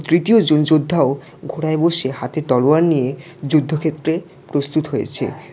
তৃতীয়জন যোদ্ধাও ঘোড়ায় বসে হাতে তলোয়ার নিয়ে যুদ্ধক্ষেত্রে প্রস্তুত হয়েছে।